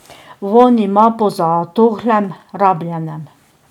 Vonj ima po zatohlem, rabljenem.